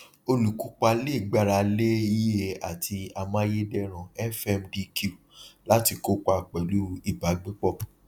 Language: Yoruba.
olùkópa le gbára lé ie àti amáyédẹrùn fmdq láti kópa pẹlú ìbágbépọ